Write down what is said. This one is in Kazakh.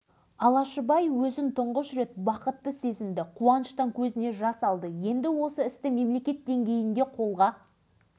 су сабалған құстардың қиқуына бір сәт құлақ түрудің өзі қандай ғажап шөліркеген дала аңдары теңізге қарай жосылды